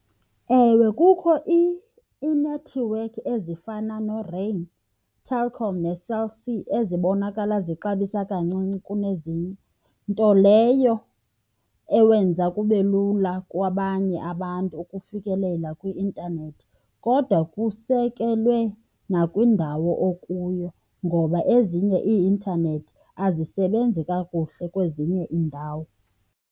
Ewe, kukho iinethiwekhi ezifana neRain, iTelkom neCell C ezibonakala zixabisa kancinci kunezinye, nto leyo ewenza kube lula kwabanye abantu ukufikelela kwi-intanethi. Kodwa kusekelwe nakwindawo okuyo ngoba ezinye ii-intanethi azisebenzi kakuhle kwezinye iindawo.